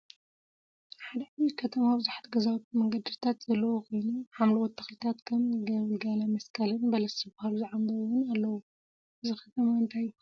ሓደ ዓብይ ከተማ ቡዙሓት ገዛውቲን መንገዲታት ዘለዎን ኮይኑ፤ ሓምለዎት ተክሊታት ከም ገልገለመስቀልን በለስ ዝበሃሉ ዝዓምበቡ እውን አለውዎ፡፡ እዚ ከተማ እንታይ ይበሃል?